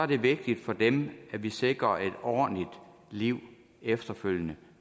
det vigtigt for dem at vi sikrer et ordentligt liv efterfølgende